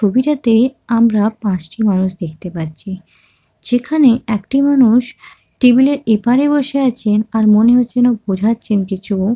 ছবিটাতে আমরা পাঁচটি মানুষ দেখতে পাচ্ছি যেখানে একটি মানুষ টেবিলের এপারে বসে আছে আর মনে হচ্ছে যেনো বোঝাচ্ছেন কিছু।